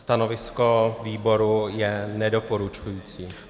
Stanovisko výboru je nedoporučující.